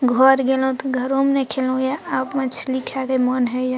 घर गेलों त घरो म नाय खेलों यें अब मछली खाय के मोन हैयअ।